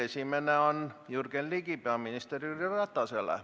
Esimene on Jürgen Ligi küsimus peaminister Jüri Ratasele.